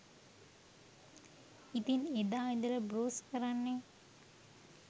ඉතින් එදා ඉදලා බෲස් කරන්නේ